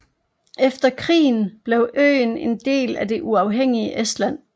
Efter krigen blev øen en del af det uafhængige Estland